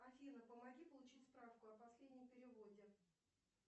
афина помоги получить справку о последнем переводе